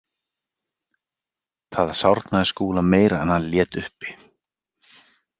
Það sárnaði Skúla meira en hann lét uppi.